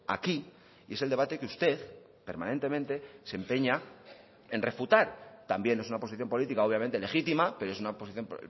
aquí y es el debate que usted permanentemente se empeña en refutar también es una posición política obviamente legítima pero es una posición